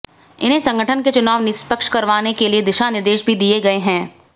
इन्हें संगठन के चुनाव निष्पक्ष करवाने के लिए दिशानिर्देश भी दिए गए हैं